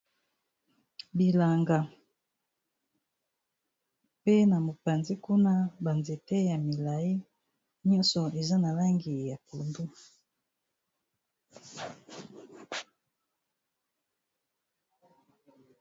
Bilanga, pe na mopanzi kuna ba nzete ya milai nyonso eza na langi ya pondu.